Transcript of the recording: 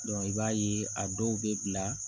i b'a ye a dɔw bɛ bila